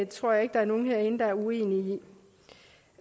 tror jeg ikke der er nogen herinde der er uenige